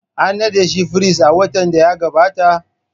An nada shi firist a watan da ya gabata?